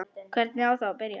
Hvernig á að byrja?